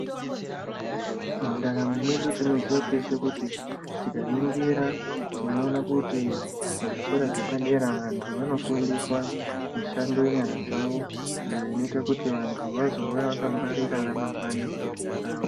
Mundaramo mwedu tinoziya teshe kuti tikaningira tinoona kuti muzvikora zvepadera vantu vanofundiswa mushando yenyara dzavo. Iyo inoite kuti vantu vazouya vakagwarira ramangwani ravo.